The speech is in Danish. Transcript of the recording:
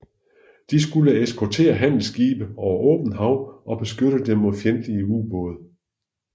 De skulle eskortere handelsskibe over åbent hav og beskytte dem mod fjendtlige ubåde